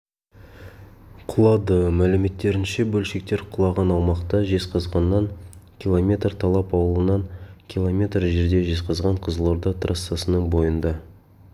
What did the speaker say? құлады мәліметтерінше бөлшектер құлаған аумақта жезқазғаннан километр талап аулынан километр жерде жезқазған-қызылорда трассасының бойында